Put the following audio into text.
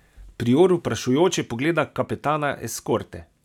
Prior vprašujoče pogleda kapetana eskorte.